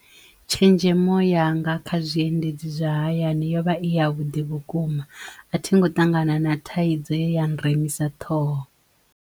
Tshenzhemo yanga kha zwiendedzi zwa hayani yo vha a i ya vhuḓi vhukuma a thingo ṱangana na thaidzo ye ya nremisa ṱhoho.